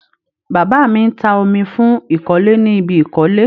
Bàbá mi ń ta omi fún ìkọ́lé ni ibi ìkọ́lé.